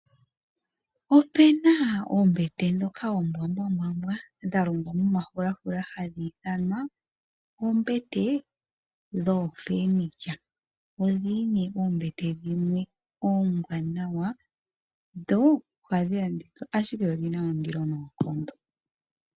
Opena oombete dhoka oombwambwambwa dhalongwa momafulafula hadhi ithanwa oombete dhooFurniture, odhili nee oombete dhimwe ombwaanawa, dho ohadhi landithwa ashike odhina ondilo noonkondo.